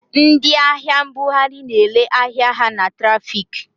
Ndị ahịa mbughari na-ere ahịa ha na trafiki.